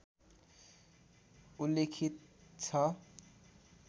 उल्लेखित छ